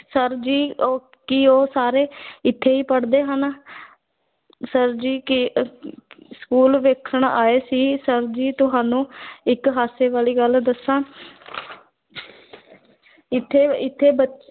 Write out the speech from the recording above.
sir ji ਉਹ ਕੀ ਉਹ ਸਾਰੇ ਇੱਥੇ ਹੀ ਪੜ੍ਹਦੇ ਹਨ ਸਰ ਜੀ ਕੀ school ਵੇਖਣ ਆਏ ਸੀ ਸਰ ਜੀ ਤੁਹਾਨੂੰ ਇੱਕ ਹਾਸੇ ਵਾਲੀ ਗੱਲ ਦੱਸਾਂ ਇੱਥੇ ਇੱਥੇ ਬੱ